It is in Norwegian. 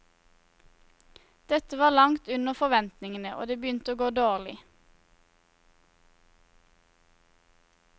Dette var langt under forventningene og det begynte å gå dårlig.